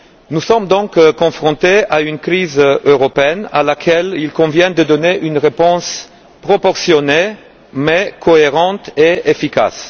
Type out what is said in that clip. Nous sommes donc confrontés à une crise européenne à laquelle il convient de donner une réponse proportionnée mais cohérente et efficace.